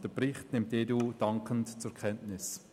Den Bericht nimmt die EDU dankend zur Kenntnis.